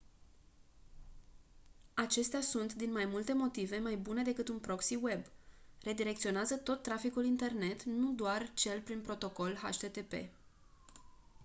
acestea sunt din mai multe motive mai bune decât un proxy web redirecționează tot traficul internet nu doar cel prin protocol http